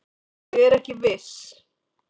Ég er ekki viss.